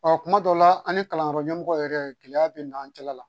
kuma dɔ la an ni kalanyɔrɔ ɲɛmɔgɔ yɛrɛ gɛlɛya bɛ n'an cɛla la